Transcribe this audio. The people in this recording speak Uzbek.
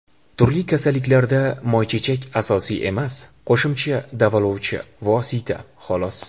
Turli kasalliklarda moychechak asosiy emas, qo‘shimcha davolovchi vosita xolos.